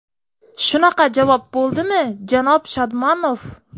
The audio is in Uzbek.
Shunaqa javob bo‘ldimi, janob Shodmonov?